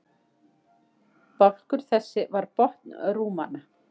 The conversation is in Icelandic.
Bálkur þessi var botn rúmanna.